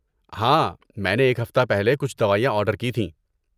ہاں، میں نے ایک ہفتہ پہلے کچھ دوائیاں آرڈر کی تھیں۔